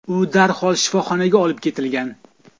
U darhol shifoxonaga olib ketilgan.